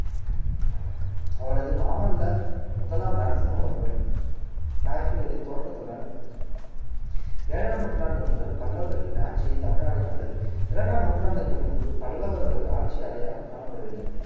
அவரது மாமல்ல முதலாம் நரசிம்மவர்மன் நரசிம்மரின் தோற்றத்துடன் ஏழாம் நூற்றாண்டு முதல் பல்லவர்களின் ஆட்சியை தமிழ்நாடு கண்டது இரண்டாம் நூற்றாண்டுக்கு முன்பு பல்லவர்கள் ஆட்சி அடையாளம் காணப்படவில்லை